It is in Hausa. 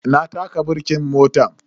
Na taka birkin motan.